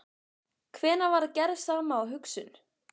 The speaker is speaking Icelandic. Hvenær varð gerð sama og hugsun?